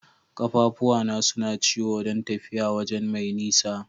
Kaffafuwa na suna ciwo dan tafiya waje mai nisa.